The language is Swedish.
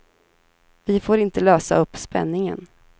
Vi får inte lösa upp spänningen.